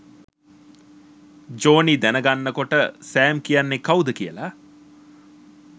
Johnny දැනගන්නකොට Sam කියන්නේ කවුද කියලා